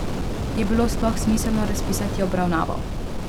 Je bilo sploh smiselno razpisati obravnavo?